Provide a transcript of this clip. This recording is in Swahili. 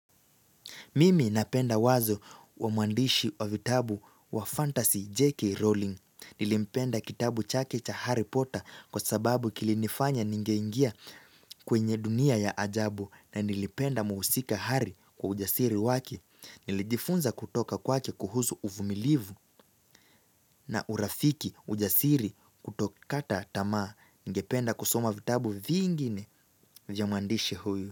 Mimi napenda wazo wa muandishi wa vitabu wa fantasy J.K. Rowling. Nilipenda kitabu chakecha Harry Potter kwa sababu kilinifanya ningeingia kwenye dunia ya ajabu na nilipenda muusika Harry kwa ujasiri wake Nilijifunza kutoka kwake kuhuzu uvumilivu na urafiki ujasiri kutokata tamaa ningependa kusoma vitabu vingine vya muandishi huyu.